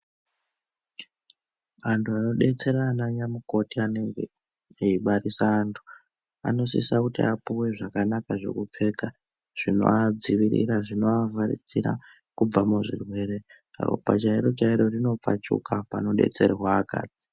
Antu ano detsera ana nyamukoti anenge eyi barisa antu ano sisa kuti apuwe zvakanaka zveku pfeka zvinova dzivirira zvinova vharidzira kubva mu zvirwere ropa chairo chairo rino pfachuka pano detserwa akadzi.